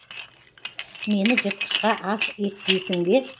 мені жыртқышқа ас еткейсің бе